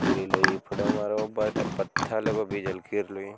फिर एलो ये बस पत्थर एगो भी झलकी रहलो ये।